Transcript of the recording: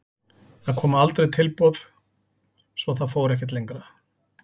Það koma aldrei tilboð svo það fór ekkert lengra.